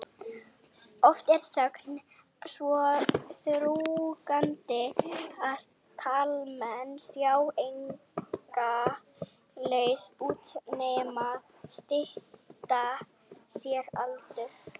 Oft er þöggunin svo þrúgandi að karlmenn sjá enga leið út nema stytta sér aldur.